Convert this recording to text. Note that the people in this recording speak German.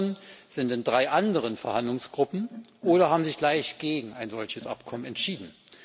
Die anderen sind in drei anderen Verhandlungsgruppen oder haben sich gleich gegen ein solches Abkommen entschieden.